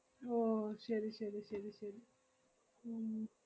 ഓ ശെരി ശെരി ശെരി ശെരി ഉം